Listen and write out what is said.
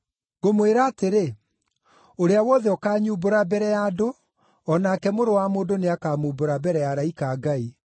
“Ngũmwĩra atĩrĩ, ũrĩa wothe ũkanyumbũra mbere ya andũ, o nake Mũrũ wa Mũndũ nĩakamumbũra mbere ya araika a Ngai.